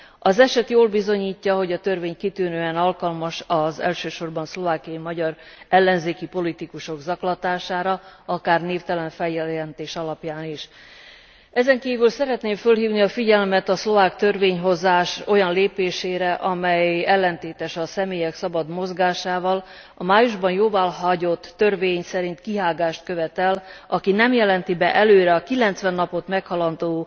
Az eset jól bizonyítja, hogy a törvény kitűnően alkalmas az elsősorban szlovákiai magyar ellenzéki politikusok zaklatására, akár névtelen feljelentés alapján is. Ezen kívül szeretném felhívni a figyelmet a szlovák törvényhozás olyan lépésére, amely ellentétes a személyek szabad mozgásával a májusban jóváhagyott törvény szerint kihágást követ el, aki nem jelenti be előre a 90 napot meghaladó